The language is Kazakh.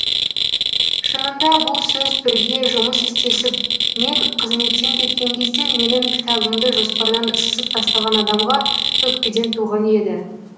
шынында бұл сөз бірге жұмыс істесіп мен қызметтен кеткен кезде менің кітабымды жоспардан сызып тастаған адамға өкпеден туған еді